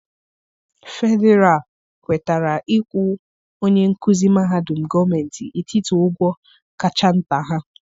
Fedịral kwetara ịkwụ onye nkuzi mahadum gọọmentị etiti ụgwọ ụgwọ kacha nta ha.